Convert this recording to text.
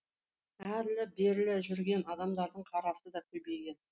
әрлі берлі жүрген адамдардың қарасы да көбейген